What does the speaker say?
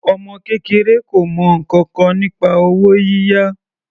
Ọmọ kékeré kò mọ ǹkankan nípa owó yíyá.